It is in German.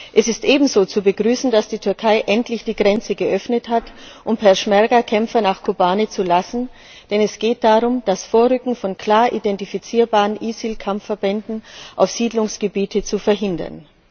Es ist ebenso zu begrüßen, dass die Türkei endlich die Grenze geöffnet hat, um Peschmerga Kämpfer nach Kobane zu lassen, denn es geht darum, das Vorrücken von klar identifizierbaren ISIL Kampfverbänden auf Siedlungsgebiete zu verhindern.